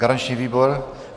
Garanční výbor?